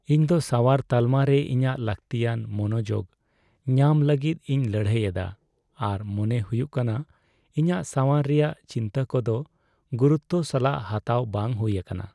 ᱤᱧᱫᱚ ᱥᱟᱣᱟᱨ ᱛᱟᱞᱢᱟᱨᱮ ᱤᱧᱟᱹᱜ ᱞᱟᱹᱠᱛᱤᱭᱟᱱ ᱢᱚᱱᱚᱡᱳᱜ ᱧᱟᱢ ᱞᱟᱹᱜᱤᱫ ᱤᱧ ᱞᱟᱹᱲᱦᱟᱹᱭ ᱮᱫᱟ, ᱟᱨ ᱢᱚᱱᱮ ᱦᱩᱭᱩᱜ ᱠᱟᱱᱟ ᱤᱧᱟᱹᱜ ᱥᱟᱣᱟᱨ ᱨᱮᱭᱟᱜ ᱪᱤᱱᱛᱟᱹ ᱠᱚᱫᱚ ᱜᱩᱨᱩᱛᱛᱚ ᱥᱟᱞᱟᱜ ᱦᱟᱛᱟᱣ ᱵᱟᱝ ᱦᱩᱭ ᱟᱠᱟᱱᱟ ᱾